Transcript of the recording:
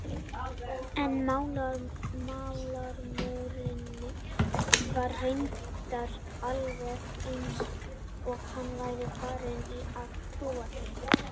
En málrómurinn var reyndar alveg eins og hann væri farinn að trúa því.